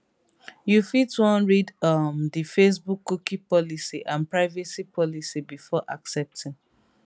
you fit wan read um di facebookcookie policyandprivacy policybefore accepting